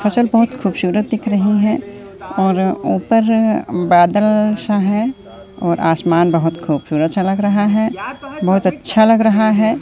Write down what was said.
फसल बहोत खूबसूरत दिख रही है और ऊपर बादल सा है और आसमान बहोत खूबसूरत सा लग रहा है बहोत अच्छा लग रहा है।